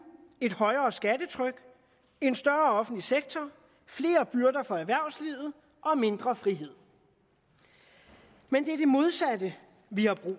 et højere skattetryk en større offentlig sektor flere byrder for erhvervslivet og mindre frihed men det er det modsatte vi har brug